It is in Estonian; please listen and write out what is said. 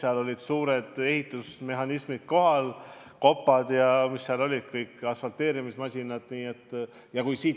Kohal olid suured ehitusmasinad: kopad, asfalteerimismasinad ja mis seal kõik olid.